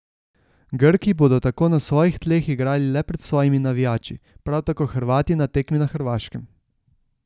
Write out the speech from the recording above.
Grki bodo tako na svojih tleh igrali le pred svojimi navijači, prav tako Hrvati na tekmi na Hrvaškem.